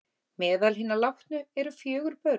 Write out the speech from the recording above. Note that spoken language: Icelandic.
Meðal hinna látnu eru fjögur börn